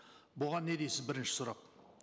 бұған не дейсіз бірінші сұрақ